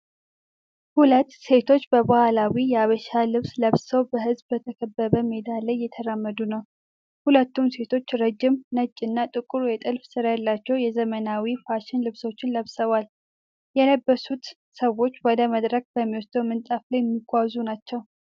ሁለት ሴቶች በባህላዊ የሐበሻ ልብስ ለብሰው በሕዝብ በተከበበ ሜዳ ላይ እየተራመዱ ነው። ሁለቱም ሴቶች ረጅም፣ ነጭ እና ጥቁር የጥልፍ ሥራ ያላቸው የዘመናዊ ፋሽን ልብሶችን ለብሰዋል። የለበሱት ሰዎች ወደ መድረክ በሚወስደው ምንጣፍ ላይ የሚጓዙ ናቸው።